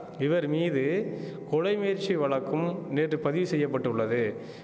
இவர் மீது கொலை முயற்சி வழக்கும் நேற்று பதிவு செய்ய பட்டுள்ளது